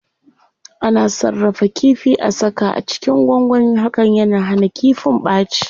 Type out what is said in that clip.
Ana sarrafa kifi,a saka a cikin gwangwani, hakan yana hana kifin ɓaci.